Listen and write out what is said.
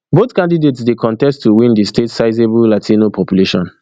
both candidates dey contest to win di state sizeablelatino population